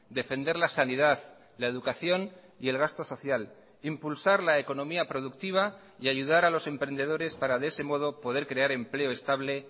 defender la sanidad la educación y el gasto social impulsar la economía productiva y ayudar a los emprendedores para de ese modo poder crear empleo estable